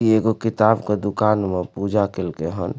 ई एगो किताब के दुकान में पूजा कैल कई हन।